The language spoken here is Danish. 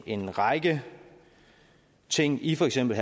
en række ting i for eksempel